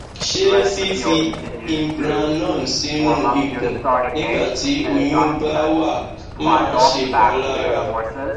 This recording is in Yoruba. ṣé fífi implanon sínú ikùn nígbà tí oyún bá wà máa ń ṣèpalára